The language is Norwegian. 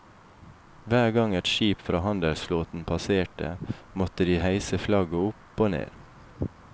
Hver gang et skip fra handelsflåten passerte, måtte de heise flagget opp og ned.